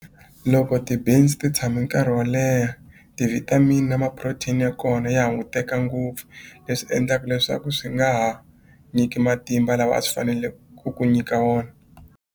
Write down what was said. Loko ti beans ti tshame nkarhi wo leha ti-vitamin ma-protein ya kona ya hunguteka ngopfu leswi endlaku leswaku swi nga ha nyiki matimba lawa a swi fanele ku ku nyika wona.